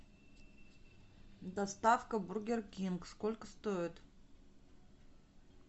доставка бургер кинг соклько стоит